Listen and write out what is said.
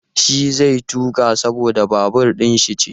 Shi zai tuƙa saboda babur ɗin shi ce.